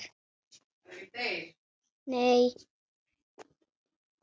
Nei, Rósa.